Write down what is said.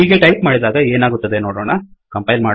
ಹೀಗೆ ಟೈಪ್ ಮಾಡಿದಾಗ ಏನಾಗುತ್ತದೆ ನೋಡೊಣ